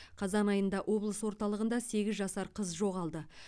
қазан айында облыс орталығында сегіз жасар қыз жоғалды